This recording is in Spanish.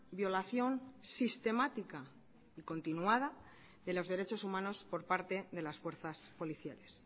violación sistemática y continuada de los derechos humanos por parte de las fuerzas policiales